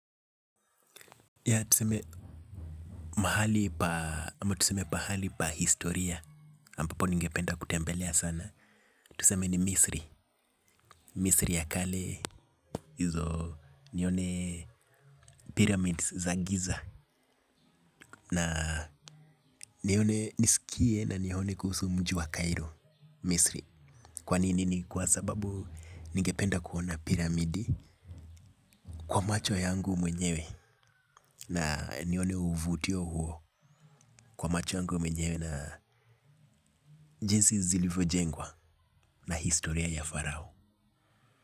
Ya tuseme mahali pa, ama tuseme pahali pa historia ambapo ningependa kutembelea sana tuseme ni Misri. Misri ya kale hizo nione pyramids za giza. Na nione niskie na nione kuhusu mji wa Cairo Misri. Kwa nini ni kwa sababu ningependa kuona pyramidi kwa macho yangu mwenyewe. Na nione uvutio huo. Kwa macho yangu mwenyewe na jinsi zilivyojengwa. Na historia ya Farao.